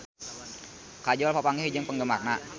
Kajol papanggih jeung penggemarna